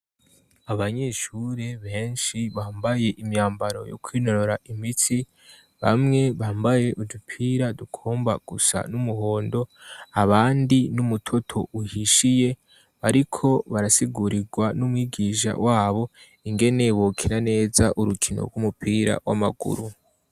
Abanyeshure benshi bambaye imyambaro yo kwinorora imitsi, bamwe bambaye udupira dukomba gusa n'umuhondo abandi n'umutoto uhishiye ariko barasigurirwa n'umwigisha wabo ingene bokina neza urukino rw'umupira w'amaguru.